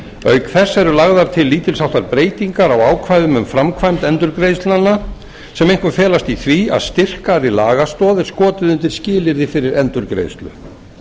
auk þess eru lagðar til lítils háttar breytingar á ákvæðum um framkvæmd endurgreiðslnanna sem einkum felast í því að styrkari lagastoð er skotið undir skilyrði fyrir endurgreiðslu